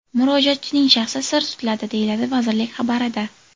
Murojaatchining shaxsi sir tutiladi”, deyiladi vazirlik xabarida.